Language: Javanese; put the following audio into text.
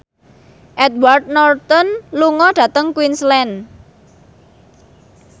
Edward Norton lunga dhateng Queensland